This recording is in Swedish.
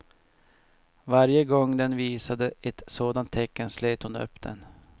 Varje gång den visade ett sådant tecken slet hon upp den.